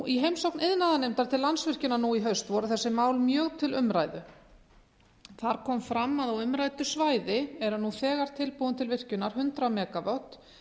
í heimsókn iðnaðarnefndar til landsvirkjunar nú í haust voru þessi mál mjög til umræðu þar kom fram að á umræddu svæði eru nú þegar tilbúin til virkjunar hundrað megavött